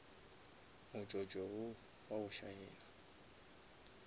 motsotso wo wa go šaena